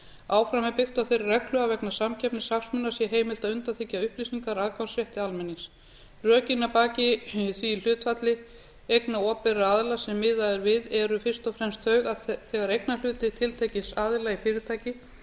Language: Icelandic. áfram er byggt á þeirri reglu að vegna samkeppnishagsmuna sé heimilt að undanþiggja upplýsingar aðgangsrétti almennings rökin að baki því hlutfalli einnig opinberra aðila sem miðað er við eru fyrst og fremst þau að þegar eignarhluti tiltekins aðila í fyrirtæki